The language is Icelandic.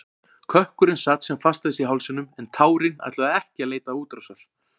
Kökkurinn sat sem fastast í hálsinum en tárin ætluðu ekki að leita útrásar.